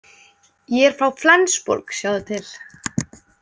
Ég er frá Flensborg, sjáðu til.